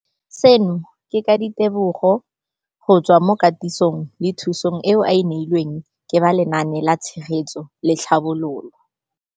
Seno ke ka ditebogo go tswa mo katisong le thu song eo a e neilweng ke ba Lenaane la Tshegetso le Tlhabololo ya.